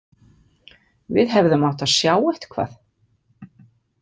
Við hefðum átt að sjá eitthvað.